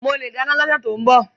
Mo le dáná ní ọsẹ ti o n bọ.